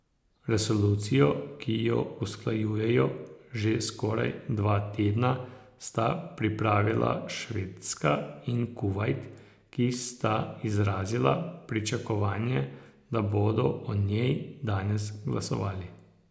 Resolucijo, ki jo usklajujejo že skoraj dva tedna, sta pripravila Švedska in Kuvajt, ki sta izrazila pričakovanje, da bodo o njej danes glasovali.